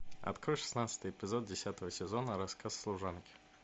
открой шестнадцатый эпизод десятого сезона рассказ служанки